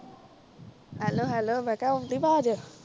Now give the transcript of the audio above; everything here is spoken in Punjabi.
ਹੈਲੋ ਹੈਲੋ ਮੈਂ ਕਿਹਾ ਆਉਣ ਡਈ ਆਵਾਜ਼